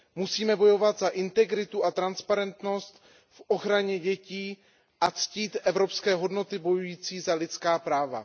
Musíme bojovat za integritu a transparentnost v ochraně dětí a ctít evropské hodnoty bojující za lidská práva.